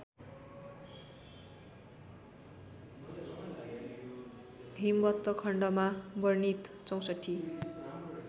हिमवत्खण्डमा वर्णित ६४